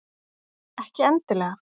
Ekki endilega.